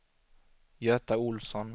Göta Ohlsson